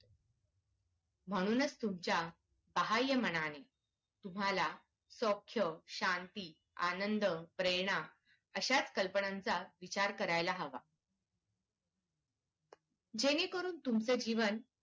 म्हणूनच तुमच्या सहाय्य मनात तुम्हाला शांती, आनंद, प्रेरणा असाच कल्पनांचा विचार करायला हवा जेणेकरून तुमचं जीवन